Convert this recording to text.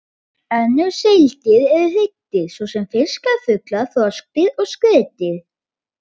Önnur seildýr eru hryggdýr, svo sem fiskar, fuglar, froskdýr og skriðdýr.